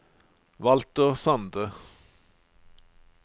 Walter Sande